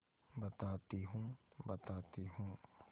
बताती हूँ बताती हूँ